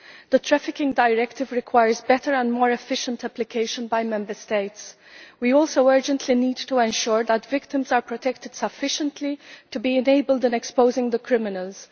The Anti trafficking Directive requires better and more efficient application by Member States. We also urgently need to ensure that victims are protected sufficiently to be enabled in exposing the criminals.